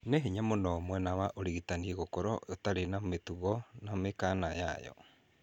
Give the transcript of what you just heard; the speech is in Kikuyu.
Nĩ hinya mũno mwena wa ũrigitani gũkorwo ũtarĩ na mĩtugo na mĩkana yayo